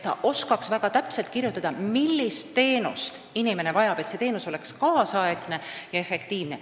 Nad soovivad osata väga täpselt kirjutada, millist teenust inimene vajab, et see teenus oleks kaasaegne ja efektiivne.